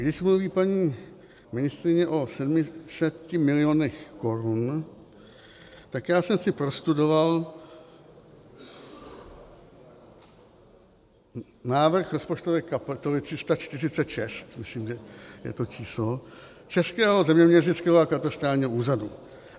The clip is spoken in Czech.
Když mluví paní ministryně o 700 milionech korun, tak já jsem si prostudoval návrh rozpočtové kapitoly 346, myslím, že je to číslo, Českého zeměměřického a katastrálního úřadu.